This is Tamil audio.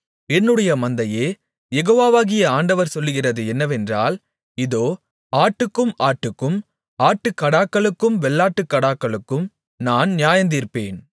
என்னுடைய மந்தையே யெகோவாகிய ஆண்டவர் சொல்லுகிறது என்னவென்றால் இதோ ஆட்டுக்கும் ஆட்டுக்கும் ஆட்டுக்கடாக்களுக்கும் வெள்ளாட்டுக்கடாக்களுக்கும் நான் நியாயந்தீர்ப்பேன்